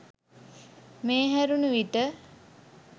මේ හැරණූ විට